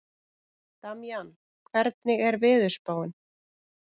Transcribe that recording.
Damjan, hvernig er veðurspáin?